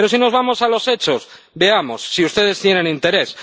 Pero, si nos vamos a los hechos, veamos, si ustedes tienen interés.